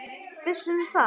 Viss um hvað?